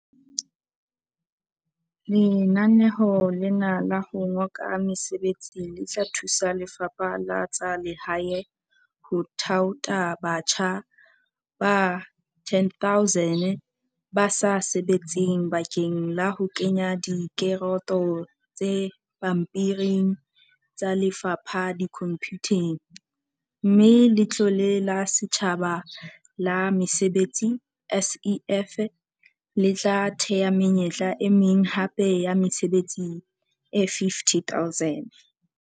Lenaneo lena la ho ngoka mesebetsi le tla thusa Lefapha la tsa Lehae ho thaotha batjha ba 10 000 ba sa sebetseng bakeng la ho kenya direkoto tse pampiring tsa lefapha dikhomphuteng, mme Letlole la Setjhaba la Mesebetsi, SEF, le tla thea menyetla e meng hape ya mesebetsi e 50 000.